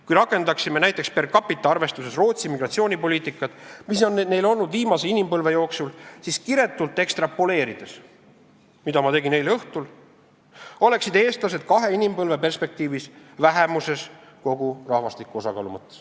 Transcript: Kui rakendaksime näiteks per capita arvestuses Rootsi migratsioonipoliitikat, mis on olnud neil viimase inimpõlve jooksul, siis kiretult ekstrapoleerides – mida ma tegin eile õhtul –, selguks, et eestlased oleksid kahe inimpõlve perspektiivis vähemuses kogu rahvastiku osakaalu mõttes.